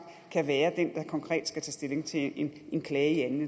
kan være den der konkret skal tages stilling til en klage i anden